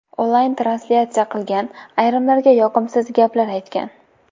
Onlayn translyatsiya qilgan , ayrimlarga yoqimsiz gaplar aytgan.